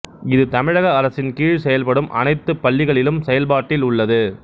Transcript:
இது தமிழக அரசின் கீழ் செயல்படும் அனைத்துப்பள்ளிகளிலும் செயல்பாட்டில் உள்ளது